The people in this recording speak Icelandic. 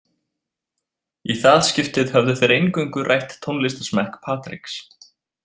Í það skiptið höfðu þeir eingöngu rætt tónlistarsmekk Patriks.